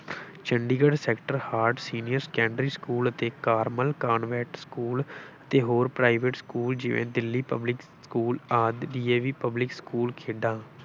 Chandigarh sector heart senior secondary school ਅਤੇ Carmel convent school ਅਤੇ ਹੋਰ private ਸਕੂਲ ਜਿਵੇਂ ਦਿੱਲੀ public ਸਕੂਲ ਆਦਿ DAV public ਸਕੂਲ ਖੇਡਾਂ।